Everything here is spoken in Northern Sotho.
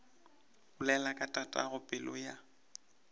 bolela ka tatago pelo ya